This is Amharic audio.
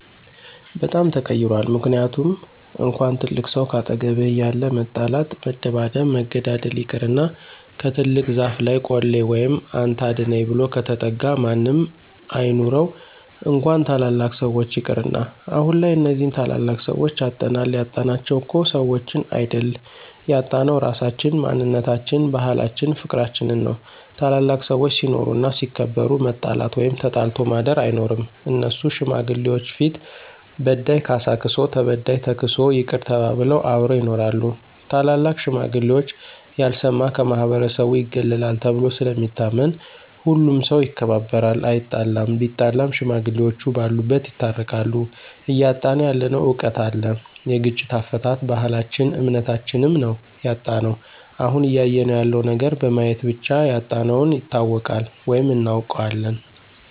በጣም ተቀይሯል ምክንያቱም እንኳን ትልቅ ሰው ካጠገብህ እያለ መጣላት መደባደብ መገዳደል ይቅርና ከትልቅ ዛፍ ለይ ቆሌ ወይም አንተ አድነኝ ብሎ ከተጠጋ ማንም አይኑረው እንኳን ታላላቅ ሰዎች ይቅርና። አሁንላይ እነዚህን ታላላቅ ሰዎች አጠናል ያጣናቸው እኮ ሰዎችን አይድል ያጣነው ራሳችን፣ ማንነታችን፣ ባህላችን ፍቅርችንን ነው። ታላላቅ ሰዎች ሲኖሩ እና ሲከበሩ መጣላት ወይም ተጣልቶ ማድር አይኖርም እነሱ ሽማግሌዎች ፊት በዳይ ካሳ ክሶ ተበዳይ ተክሶ ይቅር ተባብለው አብረው ይኖራሉ። ታላላቅ ሽማግሌዎች ያልሰማ ከማህበረሰቡ ይገለላል ተብሎ ስለሚታመን ሁሉም ሠው ይከባበራል አይጣለም ቢጣላም ሽማግሌዎቹ በሉበት ይታረቃሉ። እያጣነው ያለነው እውቀት አለ የግጭት አፈታት፣ ባህልች እምነታችም ነው ያጣነው። አሁን እያየነው ያለው ነገር በማየት ብቻ ያጣነውን ይታወቃል ወይም እናውቃለን።